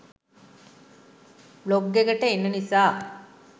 blog එකට එන නිසා